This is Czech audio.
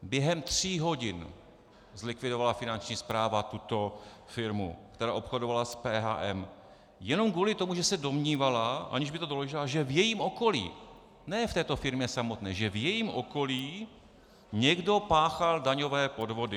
Během tří hodin zlikvidovala Finanční správa tuto firmu, která obchodovala s PHM, jenom kvůli tomu, že se domnívala, aniž by to doložila, že v jejím okolí, ne v této firmě samotné, že v jejím okolí někdo páchal daňové podvody.